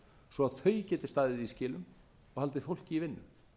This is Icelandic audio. svo þau geti staðið í skilum og haldið fólki í vinnu